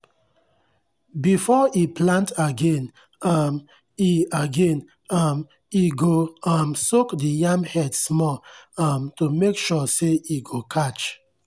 efore e plant again um e again um e go um soak the yam head small um to make sure say e go catch.